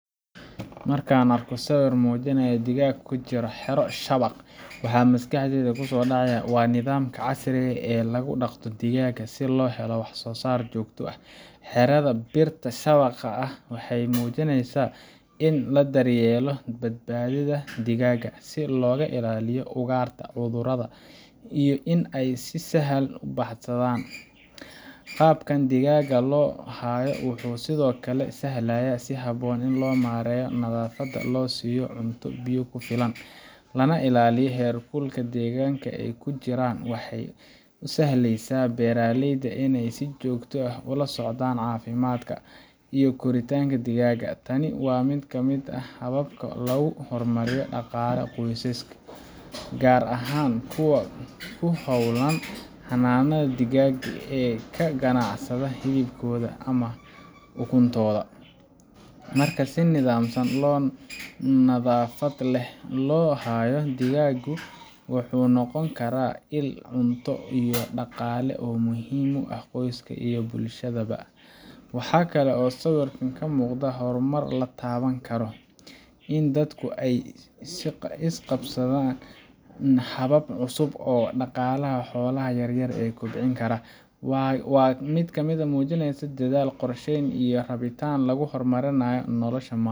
Marka aan arko sawirkan oo muujinaya digaag ku jira xero shabaq , waxaa maskaxdayda ku soo dhacaya nidaamka casriga ah ee lagu dhaqdo digaaga si loo helo wax-soo-saar joogto ah. Xerada birta shabaqa ah waxay muujinaysaa in la daryeelayo badbaadada digaagga, si looga ilaaliyo ugaarta, cudurrada, iyo in ay si sahal ah u baxsadaan. Qaabkan digaagga loo hayo wuxuu sidoo kale sahlayaa in si habboon loo maareeyo nadaafadda, loo siiyo cunto iyo biyo ku filan, lana ilaaliyo heerkulka deegaanka ay ku jiraan. Waxay u sahlaysaa beeraleyda in ay si joogto ah ula socdaan caafimaadka iyo koritaanka digaagga. Tani waa mid ka mid ah hababka lagu horumariyo dhaqaalaha qoysaska – gaar ahaan kuwa ku hawlan xanaanada digaagga ee ka ganacsada hilibkooda ama ukuntooda. Marka si nidaamsan oo nadaafad leh loo hayo, digaaggu wuxuu noqon karaa il cunto iyo dhaqaale oo muhiim u ah qoyska iyo bulshada ba. Waxaa kale oo sawirkan ka muuqda horumar la taaban karo in dadku ay la qabsadeen habab cusub oo dhaqaalaha xoolaha yaryar ay ku kobcin karaan. Waa mid kamid muujinaysa dadaal, qorsheyn, iyo rabitaan lagu horumarinayo nolosha